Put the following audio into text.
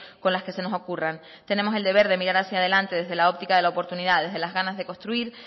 con las que se nos ocurran tenemos el deber de mirar hacia delante desde la óptica de la oportunidad desde las ganas de construir